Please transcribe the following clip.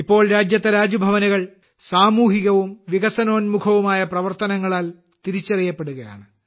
ഇപ്പോൾ രാജ്യത്തെ രാജ്ഭവനുകൾ സാമൂഹികവും വികസനോന്മുഖമായ പ്രവർത്തനങ്ങളാൽ തിരിച്ചറിയപ്പെടുകയാണ്